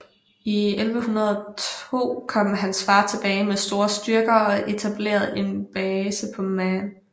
I 1102 kom hans far tilbage med store styrker og etablerede en base på Man